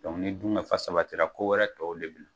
ni dun ka fa sabatira ko wɛrɛ tɔw